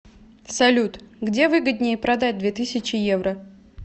салют где выгоднее продать две тысячи евро